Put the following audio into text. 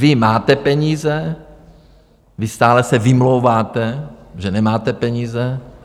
Vy máte peníze, vy stále se vymlouváte, že nemáte peníze.